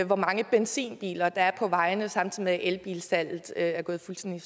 hvor mange benzinbiler der er på vejene samtidig med at elbilsalget er gået fuldstændig